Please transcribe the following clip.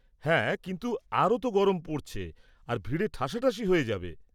হ্যাঁ, কিন্তু আরও তো গরম পড়ছে আর ভিড়ে ঠাসাঠাসি হয়ে যাবে।